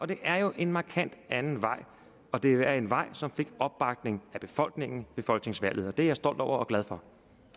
det er jo en markant anden vej det er en vej som fik opbakning af befolkningen ved folketingsvalget det er jeg stolt over og glad for